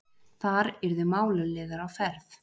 Þar yrðu málaliðar á ferð.